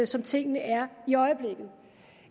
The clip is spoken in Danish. som tingene er i øjeblikket